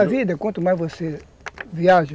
E a vida, quanto mais você viaja,